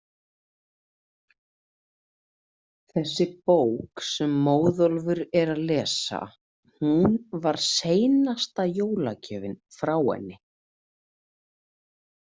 Þessi bók sem Móðólfur er að lesa, hún var seinasta jólagjöfin frá henni.